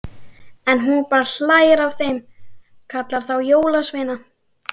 En hún bara hlær að þeim, kallar þá jólasveina.